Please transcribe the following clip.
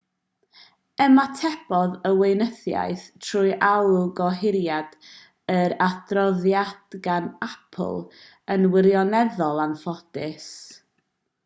ymatebodd y weinyddiaeth trwy alw gohiriad yr adroddiad gan apple yn wirioneddol anffodus